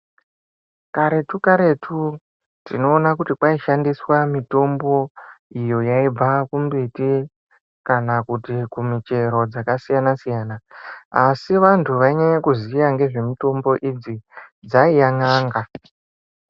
Karetu karetu tinoona kuti kwaishandiswa mitombo iyo yaibva kumbiti kana kuti kumichero dzakasiyana siyana. Asi vantu wainyanya kuziya ngezve mitombo idzi dzaiya n'anga.